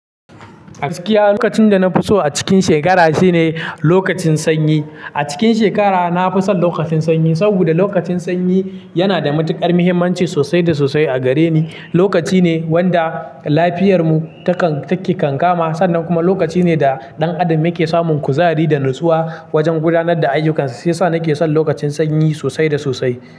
Gaskiya lokacin da na fi so a cikin shekara shine lokacin sanyi. A cikin shekara na fi son lokacin sanyi, saboda lokacin sanyi yana da matukar muhimmanci sosai da sosai a gareni. Lokaci ne wanda lafiyar mu takan take kan kama sannan kuma lokaci ne da ɗan adam yake samun kuzari da natsuwa wajen gudanar da ayyukansa. Siya sa nake son lokacin sanyi sosai da sosai.